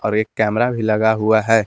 और एक कैमरा भी लगा हुआ है।